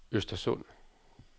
Östersund